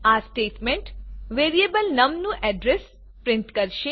આ statement variable num નું address print કરશે